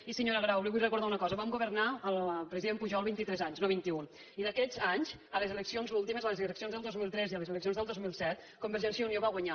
i senyora grau li vull recordar una cosa vam governar amb el president pujol vint i tres anys no vint iun i aquests anys a les eleccions últimes a les eleccions del dos mil tres i a les eleccions del dos mil set convergència i unió va guanyar